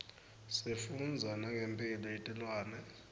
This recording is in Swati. sifundza nangemphilo yetilwane